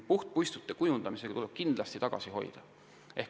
Puhtpuistute kujundamisega tuleb kindlasti tagasi hoida.